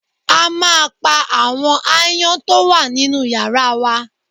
A máa pa àwọn aáyán tó wà nínú yàrá wa